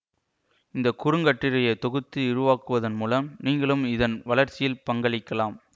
இந்த குறுங்கட்டுரையை தொகுத்து விரிவாக்குவதன் மூலம் நீங்களும் இதன் வளர்ச்சியில் பங்களிக்கலாம்